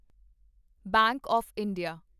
bank of India